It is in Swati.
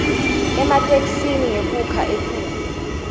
ematheksthi ngekukha etulu